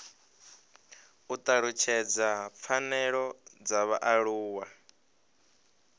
u talutshedza pfanelo dza vhaaluwa